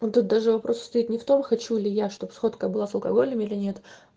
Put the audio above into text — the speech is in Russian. даже вопрос стоит не в том хочу или я чтобы сфоткай было с алкоголем или нет